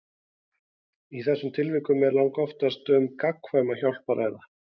Í þessum tilvikum er langoftast um gagnkvæma hjálp að ræða.